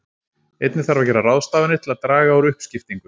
Einnig þarf að gera ráðstafanir til að draga úr uppskiptingu.